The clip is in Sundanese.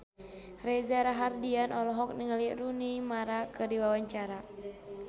Reza Rahardian olohok ningali Rooney Mara keur diwawancara